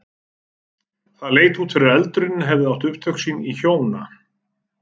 Það leit út fyrir að eldurinn hefði átt upptök sín í hjóna